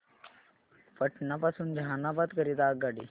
पटना पासून जहानाबाद करीता आगगाडी